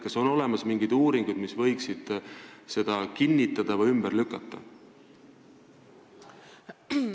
Kas on olemas mingeid uurimusi, mis võiksid seda kinnitada või ümber lükata?